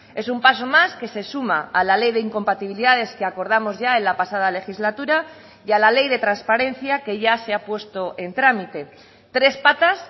es un paso más que se suma a la ley de incompatibilidades que acordamos ya en la pasada legislatura y a la ley de transparencia que ya se ha puesto en trámite tres patas